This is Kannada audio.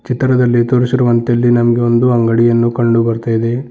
ಚಿತ್ರದಲ್ಲಿ ತೋರಿಸಿರುವಂತೆ ನಮಗೆ ಇಲ್ಲಿ ಒಂದು ಅಂಗಡಿಯನ್ನು ಕಂಡು ಬರ್ತಾ ಇದೆ.